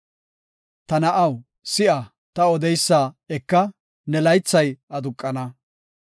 Ta na7aw, si7a; ta odeysa eka; ne laythay aduqana.